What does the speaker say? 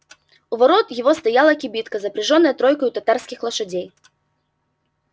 у ворот его стояла кибитка запряжённая тройкою татарских лошадей